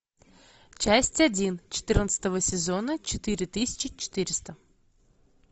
часть один четырнадцатого сезона четыре тысячи четыреста